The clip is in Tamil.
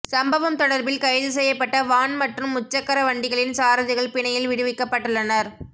சம்பவம் தொடர்பில் கைது செய்யப்பட்ட வான் மற்றும் முச்சக்கர வண்டிகளின் சாரதிகள் பிணையில் விடுவிக்கப்பட்டுள்ளனர்